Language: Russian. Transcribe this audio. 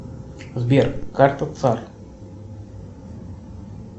сбер карта цар